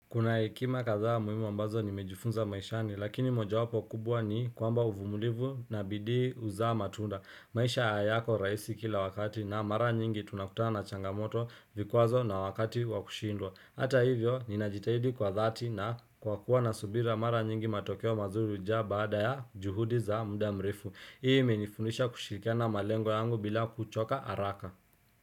Kuna hekima kadhaa muhimu ambazo nimejufunza maishani, lakini moja wapo kubwa ni kwamba uvumulivu na bidii huzaa matunda. Maisha hayako rahisi kila wakati na mara nyingi tunakutana na changamoto vikwazo na wakati wakushindwa. Hata hivyo, ninajitahidi kwa dhati na kwa kuwa na subira mara nyingi matokeo mazuri huja baada ya juhudi za muda mrefu. Hii imenifundisha kushirikiana na malengo yangu bila kuchoka haraka.